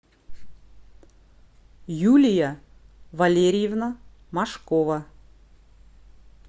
юлия валерьевна машкова